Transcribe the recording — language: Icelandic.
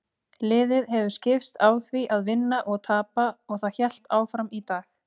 Liðið hefur skipst á því að vinna og tapa og það hélt áfram í dag.